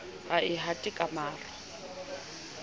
ha e hate ka maro